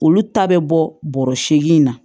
Olu ta bɛ bɔ bɔrɔ seegin na